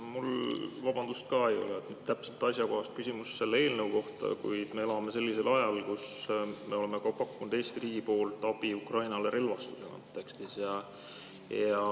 Mul, vabandust, ka ei ole täpselt asjakohast küsimust selle eelnõu kohta, kuid me elame sellisel ajal, et me oleme pakkunud Eesti riigi poolt abi Ukrainale relvastuse kontekstis.